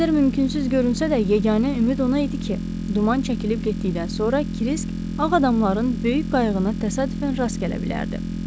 Nə qədər mümkünsüz görünsə də, yeganə ümid ona idi ki, duman çəkilib getdikdən sonra Krisk Ağ adamların böyük qayığına təsadüfən rast gələ bilərdi.